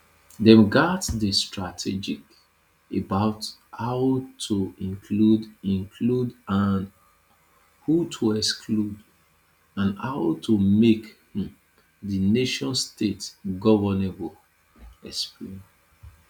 dem gatz dey strategic about who to include include and who to exclude and how to make um di nationstate governable e explain